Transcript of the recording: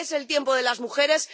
Es el tiempo de las mujeres.